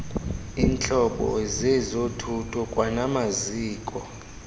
iintlobo zezothutho kwanamaziko